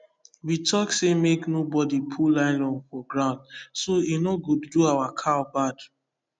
we talk say make no bodi put nylon for ground so e no go do our cow bad